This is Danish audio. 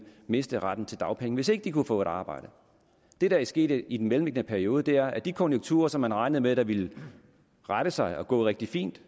miste retten til dagpenge hvis ikke de kunne få et arbejde det der er sket i den mellemliggende periode er at de konjunkturer som man regnede med ville rette sig og gå rigtig fint